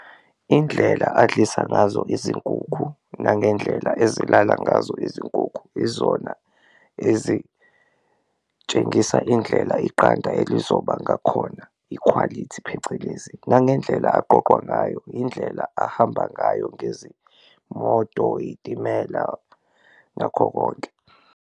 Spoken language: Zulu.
Indlela adlisa ngazo izinkukhu nangendlela ezilala ngazo izinkukhu izona ezitshengisa indlela iqanda elizoba ngakhona, ikhwalithi phecelezi, nangendlela aqoqwa ngayo, indlela ahamba ngayo ngezimoto, iy'timela, nakho konke.